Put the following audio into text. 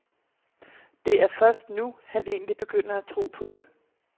Det er først nu, han egentlig begynder at tro på det.